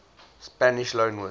spanish loanwords